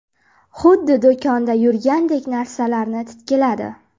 Xuddi do‘konda yurgandek narsalarni titkiladi.